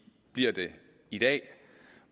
bliver det i dag